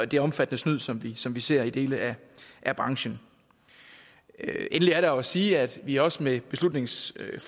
den omfattende snyd som som vi ser i dele af branchen endelig er der jo at sige at vi også med beslutningsforslaget